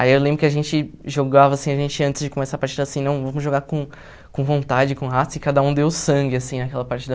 Aí eu lembro que a gente jogava assim, a gente antes de começar a partida assim, não vamos jogar com com vontade, com raça, e cada um deu sangue assim naquela partida.